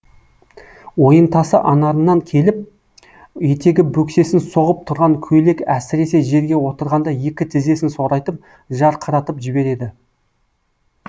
ойынтасы анарынан келіп етегі бөксесін соғып тұрған көйлек әсіресе жерге отырғанда екі тізесін сорайтып жарқыратып жібереді